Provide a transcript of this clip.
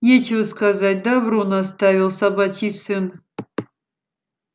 нечего сказать добру наставил собачий сын